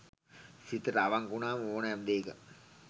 සිතට අවංක වුනාම ඕනෑම දේක